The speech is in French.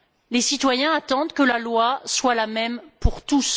Les citoyens attendent que la loi soit la même pour tous.